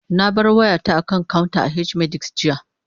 Na bar wayata a kan counter a H-medics, jiya